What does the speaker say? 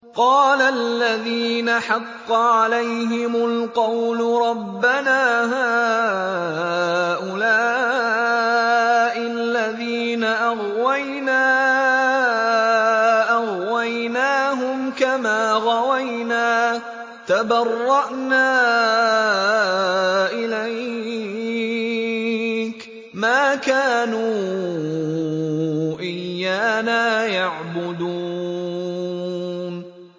قَالَ الَّذِينَ حَقَّ عَلَيْهِمُ الْقَوْلُ رَبَّنَا هَٰؤُلَاءِ الَّذِينَ أَغْوَيْنَا أَغْوَيْنَاهُمْ كَمَا غَوَيْنَا ۖ تَبَرَّأْنَا إِلَيْكَ ۖ مَا كَانُوا إِيَّانَا يَعْبُدُونَ